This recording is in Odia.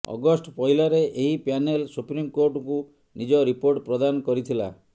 ଅଗଷ୍ଟ ପହିଲାରେ ଏହି ପ୍ୟାନେଲ ସୁପ୍ରିମକୋର୍ଟଙ୍କୁ ନିଜ ରିପୋର୍ଟ ପ୍ରଦାନ କରିଥିଲା